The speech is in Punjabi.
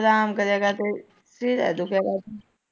ਅਰਾਮ ਕਰਿਆ ਕਰਦੇ ਟੂਆ ਦੁਖਆ ਕਰਦਾ।